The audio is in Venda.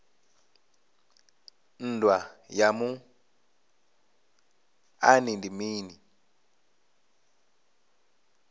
nndwa ya muṱani ndi mini